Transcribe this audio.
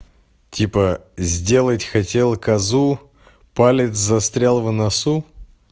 типа сделать хотела козу палец застрял в носу